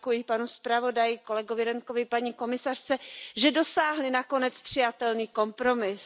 Děkuji panu zpravodaji, kolegovi Radtkeovi, paní komisařce, že dosáhli nakonec přijatelný kompromis.